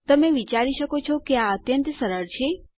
તમે વિચારી શકો છો કે આ અત્યંત સરળ છે